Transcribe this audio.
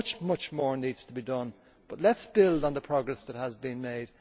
Much more needs to be done, but let us build on the progress that has been made.